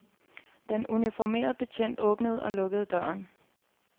Den uniformerede betjent åbnede og lukkede døren.